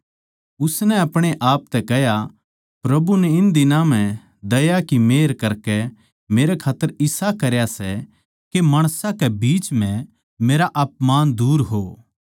उसनै अपणे आप तै कह्या प्रभु नै इन दिनां म्ह दया की मेहर करकै मेरै खात्तर इसा करया सै के माणसां के बीच म्ह मेरा अपमान दूर हो